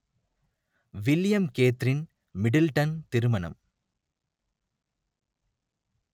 William Catherine Middleton திருமணம்